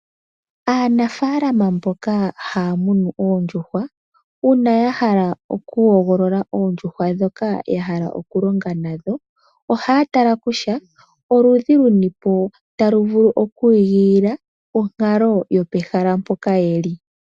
Aanafalama mboka hamunu oondjuhwa una yahala oku hogolola oondjuhwa dhoka yahala okulonga nadho, ohatala kutya oludhi lunipo taluvulu okwingolila onkalo yopehala poka yeli.